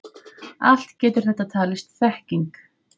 Allt getur þetta talist þekking.